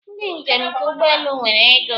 Ndị njem nke ụgbọelu nwere ego